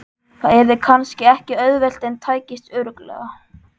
Það yrði kannski ekki auðvelt en tækist örugglega.